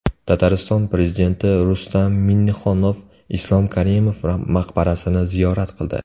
Tatariston prezidenti Rustam Minnixonov Islom Karimov maqbarasini ziyorat qildi.